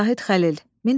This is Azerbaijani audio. Zahid Xəlil.